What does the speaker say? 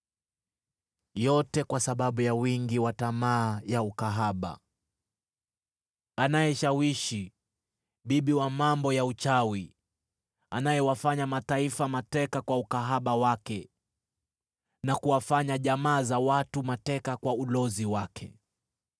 yote haya kwa sababu ya wingi wa tamaa za kahaba, anayeshawishi, bibi wa mambo ya uchawi, anayewatia utumwani mataifa kwa ukahaba wake na pia jamaa za watu kwa ulozi wake.